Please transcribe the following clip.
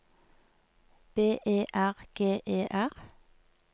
B E R G E R